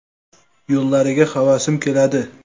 Yo‘llariga havasim keladi.